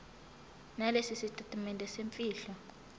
nalesi sitatimende semfihlo